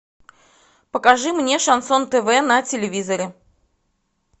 покажи мне шансон тв на телевизоре